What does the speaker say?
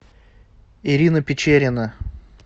ирина печерина